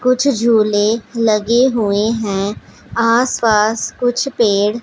कुछ झूले लगे हुए हैं आसपास कुछ पेड़--